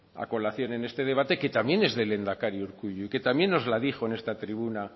a colación en este debate que también es del lehendakari urkullu y que también nos la dijo en esta tribuna